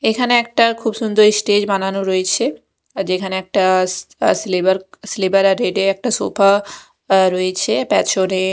এইখানে একটা খুব সুন্দর স্টেজ বানানো রয়েছে যেইখানে একটা সিলেবার সিলেবার আর রেড -এর একটা সোফা রয়েছে প্যাছণে --